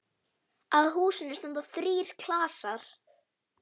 Að húsinu standa þrír klasar.